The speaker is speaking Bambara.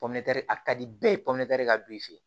a ka di bɛɛ ye ka don i fɛ